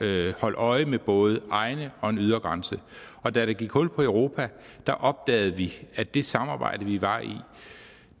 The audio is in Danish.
at holde øje med både egne og en ydre grænse og da der gik hul på europa opdagede vi at det samarbejde vi var i